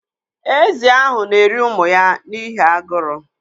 Ézì ahụ na-eri ụmụ ya n'ihi aguru.